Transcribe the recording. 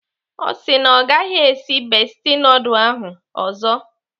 Ọ sị na ọ gaghị esi bestie nudul ahụ ọzọ.